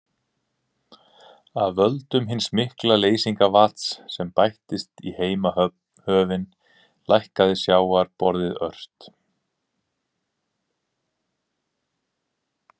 Af völdum hins mikla leysingarvatns, sem bættist í heimshöfin, hækkaði sjávarborðið ört.